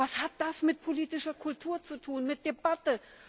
Was hat das mit politischer Kultur zu tun, mit Debatte?